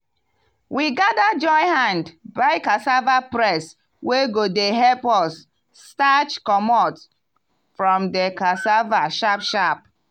we gather join hand buy cassava press wey go dey help us starch comot from di cassava sharp sharp.